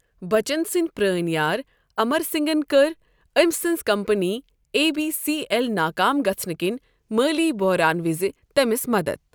بچن سٕنٛدۍ پرٛٲنۍ یار اَمر سِنٛگن کٔر أمۍ سٕنٛزِ company A B C L ناکام گژھنہٕ کِنۍ مٲلی بوہران وِزِ تٔمِس مدتھ۔